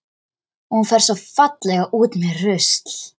Og hún fer svo fallega út með rusl.